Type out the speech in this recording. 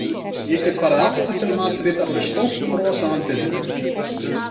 Ég get farið aftur til Madrídar með stórt bros á andlitinu.